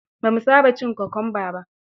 Ba mu saba cin kwakumba ba.